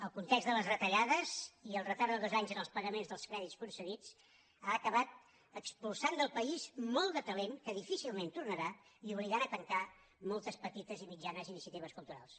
el context de les retallades i el retard de dos anys en els pagaments dels crèdits concedits han acabat expulsant del país molt de talent que difícilment tornarà i obligant a tancar moltes petites i mitjanes iniciatives culturals